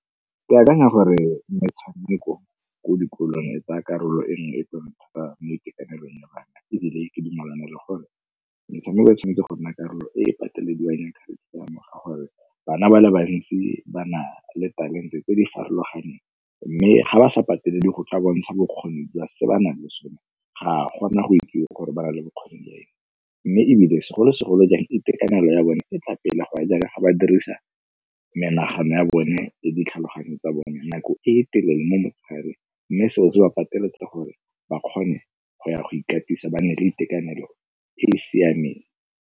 Ke akanya gore metshameko ko dikolong e tsaya karolo e nngwe thata mo itekanelong ya bana ebile ke dumelana le gore metshameko e tshwanetse go nna karolo e e patelediwang ya curriculum-o ka gore bana ba le bantsi ba na le talente tse di farologaneng. Mme ga ba sa patele le go tla bontsha bokgoni jwa se ba nang le sone, ga gona go ikutlwa gore ba na le bokgoni le eng. Mme ebile segolo segolojang itekanelo ya bone e tla pele go ya jaaka ga ba dirisa menagano ya bone le ditlhaloganyo tsa bone nako e telele mo motshegareng mme seo se ba pateletse gore ba kgone go ya go ikatisa ba nne le itekanelo e e siameng.